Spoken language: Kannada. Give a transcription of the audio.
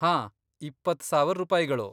ಹಾಂ, ಇಪ್ಪತ್ತ್ ಸಾವರ್ ರೂಪಾಯಿಗಳು.